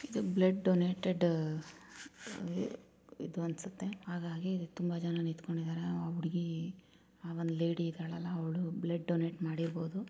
ಇದು blood donated ಇದು ಅನ್ಸುತ್ತೆಹಾಗಾಗಿ ತುಂಬಾ ಜನ ನಿಂತ್ಕೊಂಡಿದ್ದಾರೆ ಆ ಹುಡುಗಿ ಒಂದು ಲೇಡಿ ಇದಾಳಲ್ಲ ಅವಳು ಬ್ಲಡ್ ಡೊನೇಟ್ ಮಾಡಿರಬಹುದು.